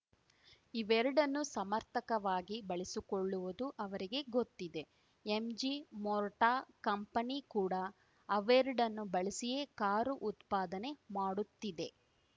ಇವೆರಡನ್ನೂ ಸಮರ್ಥಕವಾಗಿ ಬಳಸಿಕೊಳ್ಳುವುದು ಅವರಿಗೆ ಗೊತ್ತಿದೆ ಎಂಜಿ ಮೋರ್ಟಾ ಕಂಪನಿ ಕೂಡ ಅವೆರಡನ್ನೂ ಬಳಸಿಯೇ ಕಾರು ಉತ್ಪಾದನೆ ಮಾಡುತ್ತಿದೆ